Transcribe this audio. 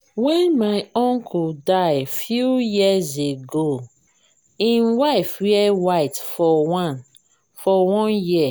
wen my uncle die few years ago im wife wear white for one for one year